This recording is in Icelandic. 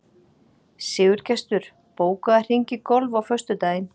Sigurgestur, bókaðu hring í golf á föstudaginn.